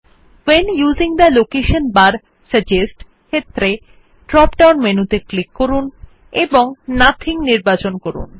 when using the location bar suggest ক্ষেত্রে drop down মেনুতে click করুন এবং নাথিং নির্বাচন করুন